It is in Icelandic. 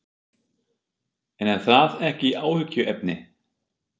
En er það ekki áhyggjuefni?